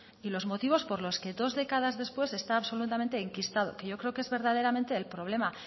y los motivos por los que dos décadas después está absolutamente enquistado que creo que es verdaderamente el problema